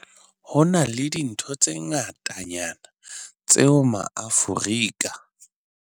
HO NA LE DINTHO tse ngatanyana tseo maAforika